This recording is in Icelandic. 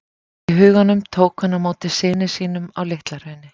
í huganum tók hann á móti syni sínum á LitlaHrauni.